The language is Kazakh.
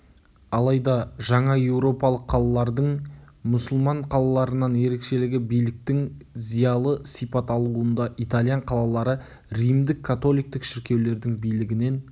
алайда жаңа еуропалық қалалардың мұсылман қалаларынан ерекшелігі биліктің зиялы сипат алуында итальян қалалары римдік-католиктік шіркеулердің билігінен